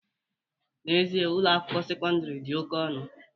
N'ezie, Ụlọ akwụkwọ sekọndrị dị oke ọnụ